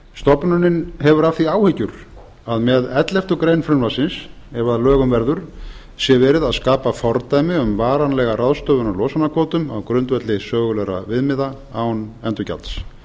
stofnunin hefur af því áhyggjur að með elleftu greinar frumvarpsins ef að lögum verður sé verið að skapa fordæmi um varanlega ráðstöfun á losunarkvótum á grundvelli sögulegra viðmiða án endurgjalds